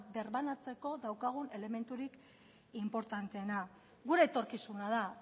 birbanatzeko daukagun elementurik inportanteena gure etorkizuna da